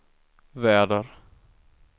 väder